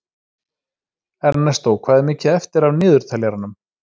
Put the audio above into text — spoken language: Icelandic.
Ernestó, hvað er mikið eftir af niðurteljaranum?